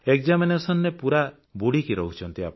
Examinationରେ ପୁରା ବୁଡ଼ିକି ରହୁଛନ୍ତି